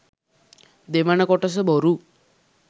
දෙවන කොටස බොරු.